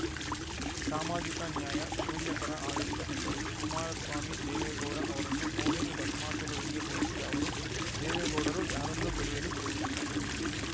ಸಾಮಾಜಿಕ ನ್ಯಾಯ ಶೂನ್ಯ ಪರ ಆಡಳಿತ ಎಂದರು ಕುಮಾರಸ್ವಾಮಿ ದೇವೇಗೌಡ ಅವರನ್ನು ಮೋಹಿನಿ ಭಸ್ಮಾಸುರರಿಗೆ ಹೋಲಿಸಿದ ಅವರು ದೇವೇಗೌಡರು ಯಾರನ್ನೂ ಬೆಳೆಯಲು ಬಿಡುವುದಿಲ್ಲ